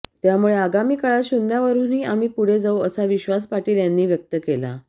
त्यामुळे आगामी काळात शुन्यावरूनही आम्ही पुढे जाऊ असा विश्वास पाटील यांनी व्यक्त केला